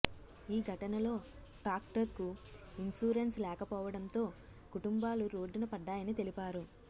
ఈ ఘటనలో ట్రాక్టర్కు ఇన్సూరెన్స్ లేకపోవడంతో కుటుంబాలు రోడ్డున పడ్డాయని తెలిపారు